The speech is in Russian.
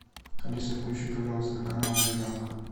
алиса включи пожалуйста канал ариранг